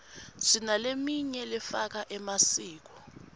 sinaleminy lefaka emasiko